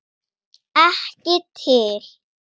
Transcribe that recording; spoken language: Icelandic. Ekki til.